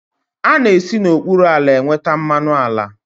A na-esi n'okpuru ala enweta mmanụ ala.